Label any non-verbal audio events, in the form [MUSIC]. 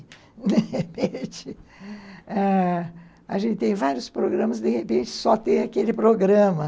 [LAUGHS] De repente, ãh, a gente tem vários programas, de repente, só tem aquele programa.